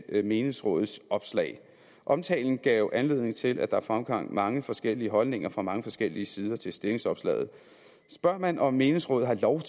menighedsrådets opslag omtalen gav anledning til at der fremkom mange forskellige holdninger fra mange forskellige sider til stillingsopslaget spørger man om menighedsråd har lov